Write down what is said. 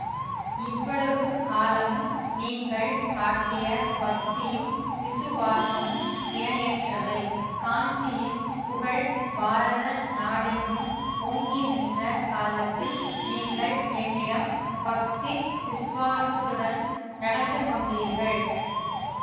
இவ்வளவு காலமும் நீங்கள் காட்டிய பக்தியும் விசுவாசமும் இணையற்றவை காஞ்சியின் புகழ் பாரத நாடெங்கும் ஓங்கி நின்ற காலத்தில் நீங்கள் என்னிடம் பக்தி விசுவாசத்துடன் நடந்து கொண்டீர்கள்